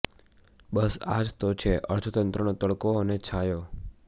બસ આ જ તો છે અર્થતંત્રનો તડકો અને છાંયો